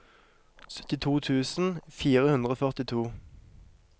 syttito tusen fire hundre og førtito